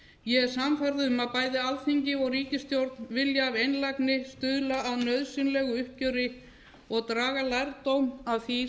ég er sannfærð um að bæði alþingi og ríkisstjórn vilja af einlægni stuðla að nauðsynlegu uppgjöri og draga lærdóm af því